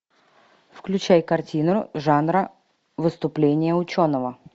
включай картину жанра выступление ученого